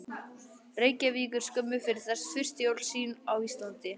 Reykjavíkur skömmu fyrir þessi fyrstu jól sín á Íslandi.